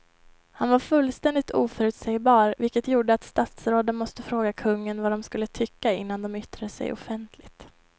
Han var fullständigt oförutsägbar vilket gjorde att statsråden måste fråga kungen vad de skulle tycka innan de yttrade sig offentligt.